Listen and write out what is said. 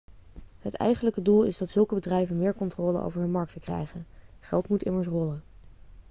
het eigenlijke doel is dat zulke bedrijven meer controle over hun markten krijgen geld moet immers rollen